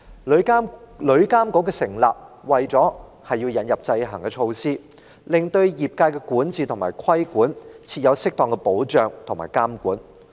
旅監局的成立，是為了引入制衡措施，設立適當的保障和監管，以便管治及規管業界。